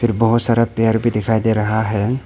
बहोत सारा पेड़ भी दिखाई दे रहा है।